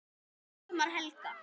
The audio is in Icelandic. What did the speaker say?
Dagmar Helga.